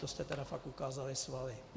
To jste tedy fakt ukázali svaly.